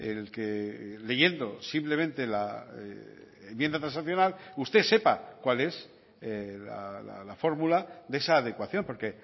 el que leyendo simplemente la enmienda transaccional usted sepa cuál es la fórmula de esa adecuación porque